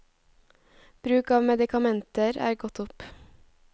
Bruk av medikamenter er gått opp.